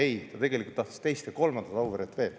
Ei, ta tegelikult tahtis teist ja veel kolmandat Auveret.